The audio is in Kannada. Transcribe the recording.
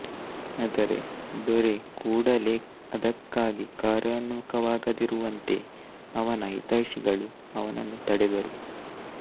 ಅದರೆ ದೊರೆ ಕೂಡಲೇ ಅದಕ್ಕಾಗಿ ಕಾರ್ಯೋನ್ಮುಖನಾಗದಿರುವಂತೆ ಅವನ ಇತರ ಹಿತೈಷಿಗಳು ಅವನ್ನು ತಡೆದರು